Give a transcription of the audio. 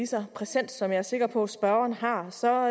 så præsent som jeg er sikker på spørgeren har så